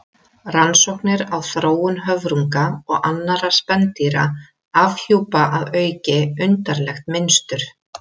Rannsóknir á þróun höfrunga og annarra spendýra afhjúpa að auki undarlegt mynstur.